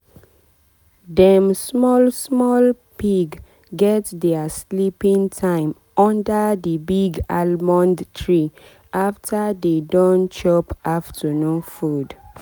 dem small small pig get dia sleeping time under the big almond tree after dey don chop afternoon food.